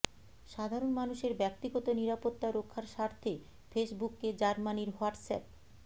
সাধারণ মানুষের ব্যক্তিগত নিরাপত্তা রক্ষার স্বার্থে ফেসবুককে জার্মানির হোয়াটসঅ্যাপ